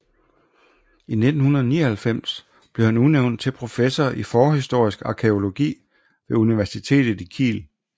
I 1999 blev han udnævnt til professor i forhistorisk arkæologi ved universitet i Kiel